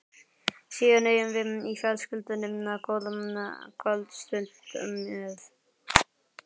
Síðan eigum við í fjölskyldunni góða kvöldstund með